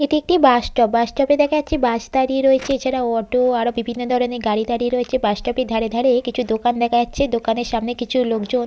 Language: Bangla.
এটি একটি বাস স্টপ বাস স্টপ -এ দেখা যাচ্ছে বাস দাঁড়িয়ে রয়েছে। এছাড়া অটো আরো বিভিন্ন ধরনের গাড়ি দাঁড়িয়ে রয়েছে বাস স্টপ -এর ধারে ধারে কিছু দোকান দেখা যাচ্ছে দোকানের সামনে কিছু লোকজন--